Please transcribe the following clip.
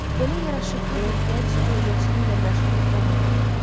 Belə yaraşıqlı bir gənc xeyriyyəçiliyi ilə məşğul olmamalıdır.